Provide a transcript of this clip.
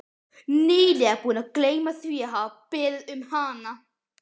lega búinn að gleyma því að hafa beðið um hana.